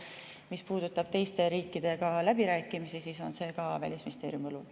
Mis puudutab teiste riikidega läbirääkimisi, siis on see ka Välisministeeriumi õlul.